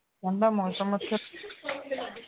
ਉਨ੍ਹਾਂ ਦਾ ਮੌਸਮ